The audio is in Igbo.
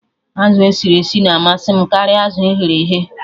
Azụ esiri esi na-amasị m karịa azụ eghere eghe